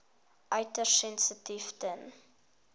uiters sensitief ten